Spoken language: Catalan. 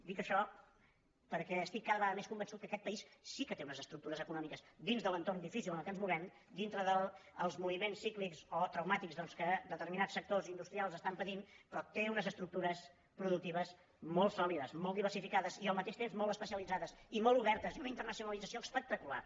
dic això perquè estic cada vegada més convençut que aquest país sí que té unes estructures econòmiques dins de l’entorn difícil en el qual ens movem dintre dels moviments cíclics o trau·màtics doncs que determinats sectors industrials es·tan patint però té unes estructures productives molt sòlides molt diversificades i al mateix temps molt es·pecialitzades i molt obertes i una internacionalització espectacular